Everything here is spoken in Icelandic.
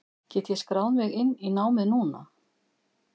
Get ég skráð mig inn í námið núna?